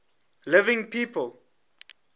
living people